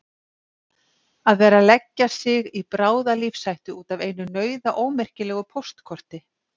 Að vera að leggja sig í bráða lífshættu út af einu nauðaómerkilegu póstkorti!